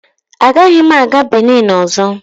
Agaghị m aga Binin ọzọ.